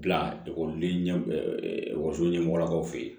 Bila ekɔliden ɲɛkɔso ɲɛmɔgɔw fe yen